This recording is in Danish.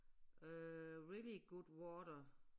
Øh really good water